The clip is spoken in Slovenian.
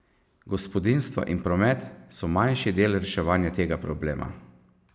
Gospodinjstva in promet so manjši del reševanja tega problema.